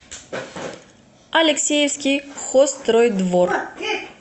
алексеевский хозстройдвор